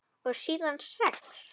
Og síðan sex?